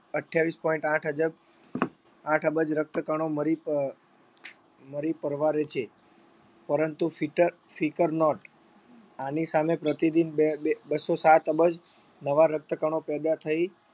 અઠ્યાવીસ point આઠ અજબ આઠ અબજ રક્તકણો મરી અમ મરી પરવારે છે પરંતુ ફીટર ફીકર not આની સામે પ્રતિ દિન બે બે બસ્સો સાત અબજ નવા રક્તકણો પેદા થઇ